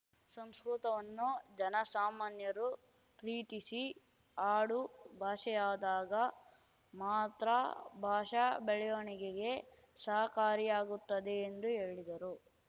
ಸಂಸ್ಕೃತವನ್ನು ಜನ ಸಾಮಾನ್ಯರು ಪ್ರೀತಿಸಿ ಆಡು ಭಾಷೆಯಾದಾಗ ಮಾತ್ರ ಭಾಷಾ ಬೆಳವಣಿಗೆಗೆ ಸಹಕಾರಿಯಾಗುತ್ತದೆ ಎಂದು ಹೇಳಿದರು